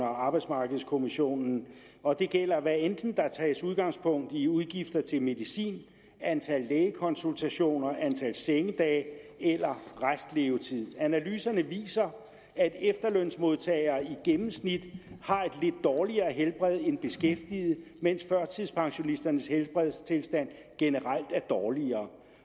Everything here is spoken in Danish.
og arbejdsmarkedskommissionen og det gælder hvad enten der tages udgangspunkt i udgifter til medicin antal lægekonsultationer antal sengedage eller restlevetid analyserne viser at efterlønsmodtagere i gennemsnit har et lidt dårligere helbred end beskæftigede mens førtidspensionisternes helbredstilstand generelt er dårligere